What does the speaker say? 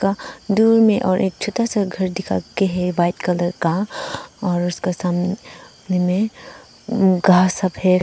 दूर में और एक छोटा सा घर दिखा के है व्हाइट कलर का और उसके सामने मे घास सफे--